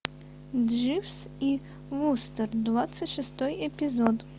дживс и вустер двадцать шестой эпизод